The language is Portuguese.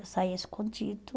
Eu saía escondido.